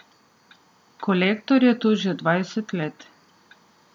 Kolektor je tu že dvajset let.